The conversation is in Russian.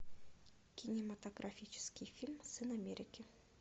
кинематографический фильм сын америки